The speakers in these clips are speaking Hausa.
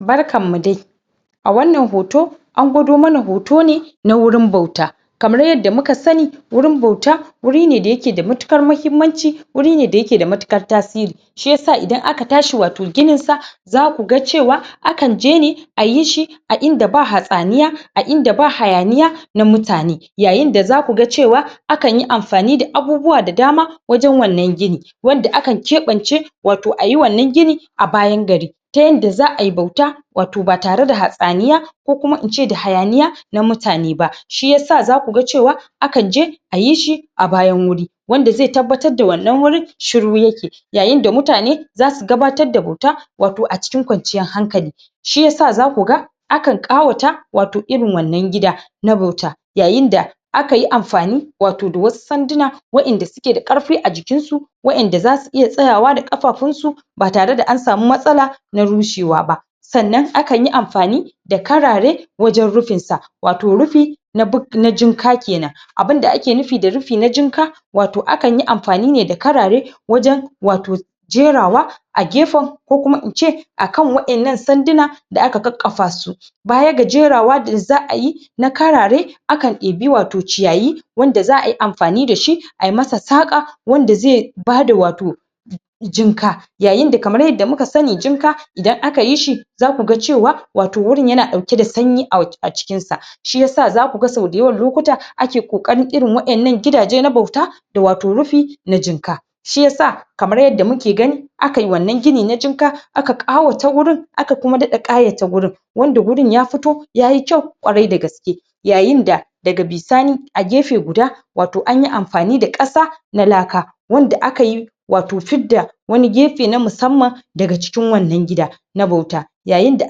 Barkan mu dai! A wannan hoton, an gwado mana hoto ne na wurin bauta. Kamar yadda muka sani wurin bauta wuri ne da ya ke da matuƙar muhimmanci wuri ne da ya ke da matuƙar tasiri. Shi ya sa idan aka tashi wato ginin sa za ku ga cewa akan je ne ayi shi a inda ba hatsaniyi, a inda ba hayaniya na mutane. Yayin da ku ga cewa akan yin amfani da abubuwa da dama wajen wannan gini, wanda akan keɓance wato ayi wannan gini a bayan gari. Ta yadda za'a yi bauta wato ba tare da hatsaniya ko kuma ince hayaniya na mutane ba. Shi ya sa za ku ga cewa akan je ayi shi a bayan wuri, wanda zai tabbatar da wannan wuri shiru ya ke. Yayin da mutane za su ganatar da bauta wato a cikin kwanciyar hankali. Shi ya sa za ku ga akan ƙawata wato irin wannan gida na bauta. Yayin da aka yi amfani wato da wasu sanduna waƴanda suke da ƙarfi a jikin su waƴanda za su iya tsayawa da ƙafafun su ba tare da an samu matsala na rushewa ba. Sannan akan yi amfani da karare wajen rufin sa, wato rufi na buk na jinka kenan. Abunda ake nufi da rufi na jinka wato akan yi amfani ne da karare wajen wato jerawa a gefen ko kuma ince akan waƴannan sanduna da aka kakkafa su. Baya ga jerawa da za'a yi na karare akan ibi wato ciyayi, wanda za'a yi amfani da shi ayi masa saƙa wanda zai bada wato jinka. Yayin da kamar yarda muka sani jinka idan aka yi shi za ku ga cewa wato wurin ya na ɗauke da sanyi a jikin sa. Shi yasa za ku ga sau da yawan lokuta ake ƙoƙarin irin waƴannan gidaje na bauta da wato rufi na jinka. Shi yasa kamar yarda muke gani akan yi wannan gini na jinka aka ƙawata wurin, aka kuma daɗa ƙayata wurin. Wnda wurin ya fito yayi kyau ƙwarai da gaske. Yayin da daga bisani a gefe guda wato anyi amfani da ƙasa na laka, wanda aka yi wati fidda wani gefe na musamman daga cikin wannan gida na bauta. Yayin da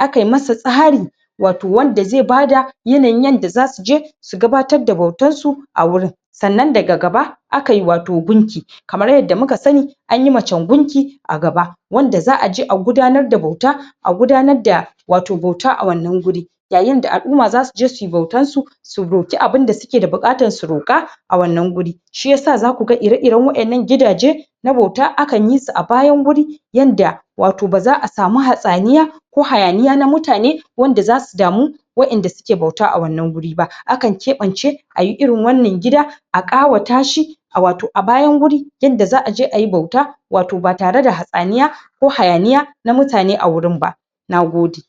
aka yi masa tsari wato wanda zai bada yanayin yanda za su je su gabatar da bautar a wurin. Sannan daga gaba aka yi wato gunki, kamar yadda muka sani an yi macen gunki a gaba wanda za'a je a gudanar da bauta, a gudanar da wato bauta a wannan wurin. Yayin da al'umma za su je suyi bautan su su roƙi abunda suke da buƙatar su roƙa a wannan wuri. Shi yasa za ku ga ire-iren waƴannan gidaje na bauta akan yi su a bayan wurin, yanda wato ba za'a samu hatsaniya ko hayaniya na mutane wanda za su damu waƴanda suke bauta a wannan wurin ba. Akan keɓance ayi irin wannan gida a ƙawata shi a wato a bayan wuri yadda za'a je ayi bauta wato ba tare da hatsaniya ko hayaniya na mutane a wurin ba. Nagode!